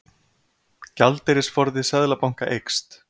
Gjaldeyrisforði Seðlabanka eykst